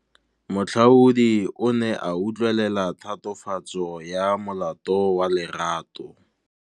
Moatlhodi o ne a utlwelela tatofatsô ya molato wa Lerato.